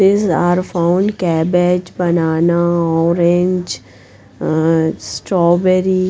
These are found cabbage banana orange Ahh strawberry.